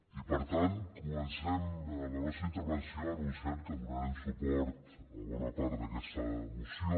i per tant comencem la nostra intervenció anunciant que donarem suport a bona part d’aquesta moció